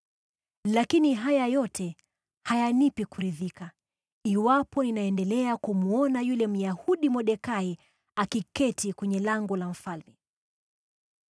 Lakini haya yote hayanipi kuridhika iwapo ninaendelea kumwona yule Myahudi Mordekai akiketi kwenye lango la mfalme.”